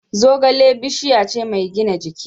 Zogale bishiya ce mai gina jiki.